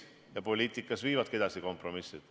Ja poliitikas viivadki edasi kompromissid.